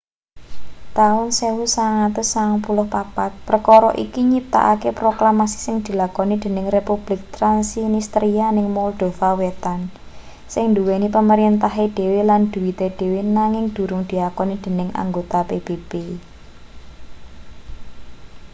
taun 1994 perkara iki nyiptakake proklamasi sing dilakoni dening republik transnistria ning moldova wetan sing nduweni pamerintahe dhewe lan dhuwite dhewe nanging durung diakoni dening anggota pbb